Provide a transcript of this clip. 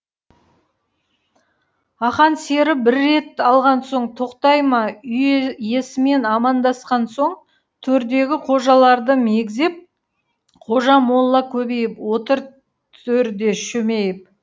ақан сері бір рет алған соң тоқтай ма үй иесімен амандасқан соң төрдегі қожаларды мегзеп қожа молла көбейіп отыр төрде шөмейіп